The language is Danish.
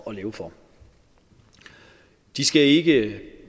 at leve for de skal ikke